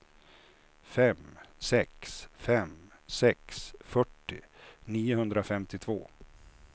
fem sex fem sex fyrtio niohundrafemtiotvå